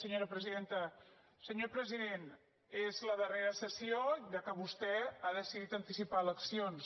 senyor president és la darrera sessió ja que vostè ha decidit anticipar eleccions